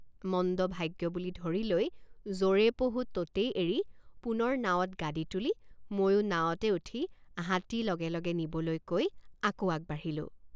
মন্দভাগ্য বুলি ধৰি লৈ যৰে পহু ততেই এৰি পুনৰ নাৱত গাদী তুলি ময়ো নাৱতে উঠি হাতী লগে লগে নিবলৈ কৈ আকৌ আগবাঢ়িলোঁ।